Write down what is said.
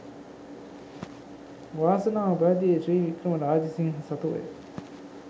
වාසනාව පැවතියේ ශ්‍රී වික්‍රම රාජසිංහ සතුව ය